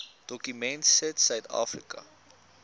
dokument sit suidafrika